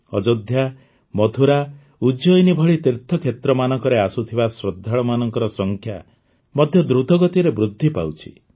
ଅଯୋଧ୍ୟା ମଥୁରା ଉଜ୍ଜୟିନୀ ଭଳି ତୀର୍ଥ କ୍ଷେତ୍ରମାନଙ୍କରେ ଆସୁଥିବା ଶ୍ରଦ୍ଧାଳୁମାନଙ୍କ ସଂଖ୍ୟା ମଧ୍ୟ ଦୃତ ଗତିରେ ବୃଦ୍ଧି ପାଉଛି